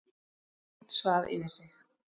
Einn svaf yfir sig